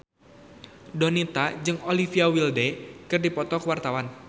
Donita jeung Olivia Wilde keur dipoto ku wartawan